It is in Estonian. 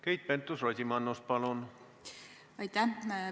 Keit Pentus-Rosimannus, palun!